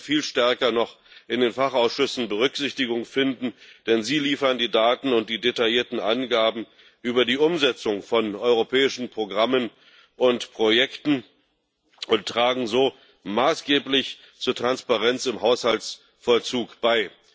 Sie sollten viel stärker noch in den Fachausschüssen Berücksichtigung finden, denn sie liefern die Daten und die detaillierten Angaben über die Umsetzung von europäischen Programmen und Projekten und tragen so maßgeblich zur Transparenz im Haushaltsvollzug bei.